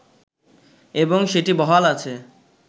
এবং সেটি বহাল আছে